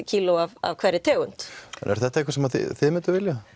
kíló af af hverri tegund er þetta eitthvað sem þið mynduð vilja